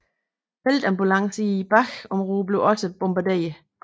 Feltambulancer i bagområdet blev også bombarderet